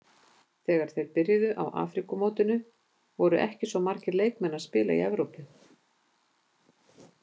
Þegar þeir byrjuðu á Afríkumótinu voru ekki svo margir leikmenn að spila í Evrópu.